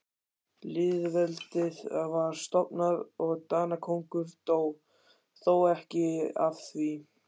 Lýðveldið var stofnað og Danakonungur dó, þó ekki af því.